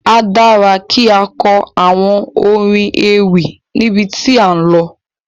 A dára kí á kọ àwọn orin ewì níbi tí à ń lọ.